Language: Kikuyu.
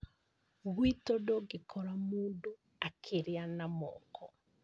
Gwitũ ndũngĩkora mũndũ akĩrĩa na moko